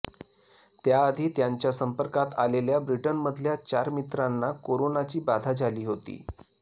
त्याआधी त्यांच्या संपर्कात आलेल्या ब्रिटनमधल्या चार मित्रांना कोरोनाची बाधा झाली होती